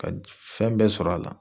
Ka fɛn bɛɛ sɔrɔ a la.